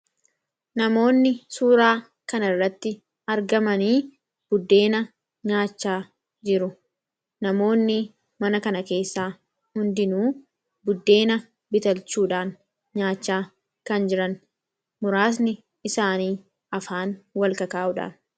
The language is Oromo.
namoonni suuraa kan irratti argaman buddeena nyaachaa jiru. Namoonni mana kana keessaa hundinuu buddeena bitachuudhaan nyaachaa kan jiran muraasni isaanii afaan wal ka'aa kan jiraniidha